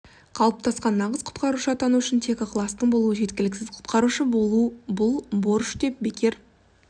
қалыптасқан нағыз құтқарушы атану үшін тек ықыластың болуы жеткіліксіз құтқарушы болу бұл борыш деп бекер